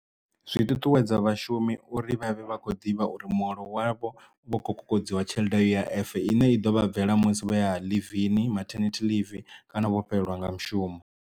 Zwi ṱuṱuwedza vhashumi uri vhavhe vha kho ḓivha uri muholo wavho vho kho kokodziwa tshelede ya U_I_F i ne i ḓo vha bvela musi vho ya ḽivini, matinity leave kana vho fhelelwa nga mushumo.